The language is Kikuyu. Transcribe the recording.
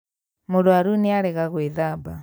Mũrwaru nĩarega gwĩthamba